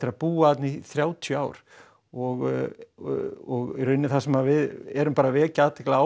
að búa þarna í þrátíu ár og í rauninni það sem við erum bara að vekja athygli á